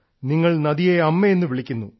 നിങ്ങൾ നദിയെ അമ്മയെന്നു വിളിക്കുന്നു